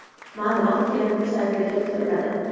Ma’lumot KMTA saytida keltiriladi .